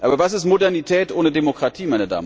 Aber was ist Modernität ohne Demokratie?